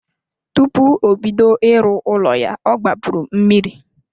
Tupu obodo ịrụ ụlọ ya ọ gbapuru mmiri.